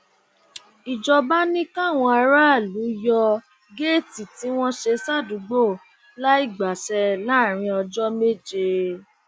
ìjọba ni káwọn aráàlú yọ géètì tí wọn ṣe sádùúgbò láì gbàṣẹ láàrin ọjọ méje